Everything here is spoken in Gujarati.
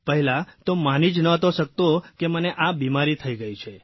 પહેલા તો માની જ નહોતો શકતો કે મને આ બીમારી થઇ ગઇ છે